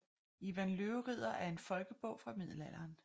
Ivan Løveridder er en folkebog fra middelalderen